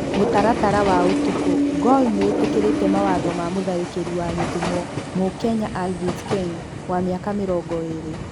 (Mũtaratara wa ũtukũ) Gor nĩ ĩtĩkĩrĩte mawatho ma mũtharĩki wa Gĩthumo, mukenya Alvis Ken wa miaka mĩrongo ĩrĩ.